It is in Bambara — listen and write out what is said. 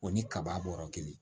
O ni kaba bɔra kelen